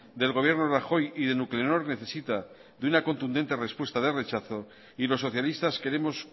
del gobierno rajoy y de nuclenor necesita de una contundente respuesta de rechazo y los socialistas queremos